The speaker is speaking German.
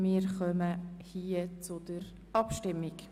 Wir kommen zur Abstimmung.